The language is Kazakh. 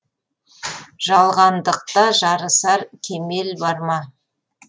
жалғандықта жарысар кемел бар ма